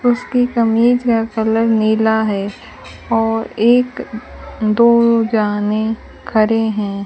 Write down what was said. उसकी कमीज का कलर नीला है और एक दो जाने खड़े हैं।